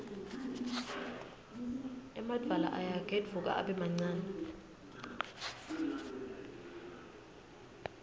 emadvwala ayagedvuka abe mancane